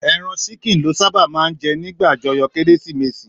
Èràn ṣìkín lò sàbá mà n jè nigbá ájòyò kérésimésí